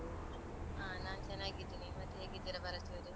ಹಾ ನಾನ್ ಚೆನ್ನಾಗಿದ್ದೀನಿ. ಮತ್ತೆ ಹೇಗಿದ್ದೀರಾ ಭಾರತಿಯವರೆ?